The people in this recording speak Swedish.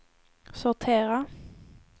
sortera